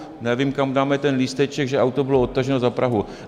Nevím, kam dáme ten lísteček, že auto bylo odtaženo za Prahu.